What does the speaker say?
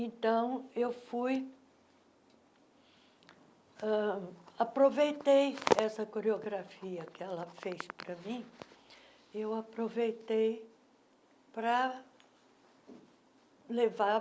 Então, eu fui... ãh Aproveitei essa coreografia que ela fez para mim eu aproveitei para levar